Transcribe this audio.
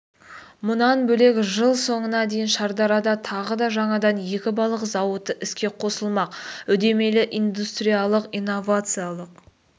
мұнан бөлек жыл соңына дейін шардарада тағы да жаңадан екі балық зауыты іске қосылмақ үдемелі индустриялық-инновациялық